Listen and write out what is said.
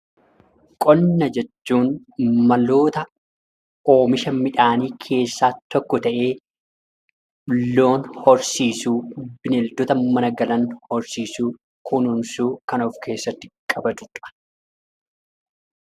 Qonna jechuun maloota oomisha midhaanii keessaa tokko ta'ee, loon horsiisuu, bineeldota mana galan horsiisuu, kunuunsuu kan of keessatti qabatu dha.